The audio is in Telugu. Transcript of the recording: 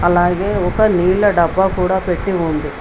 అలాగే ఒక నీళ్ల డబ్బా కూడా పెట్టి ఉంది.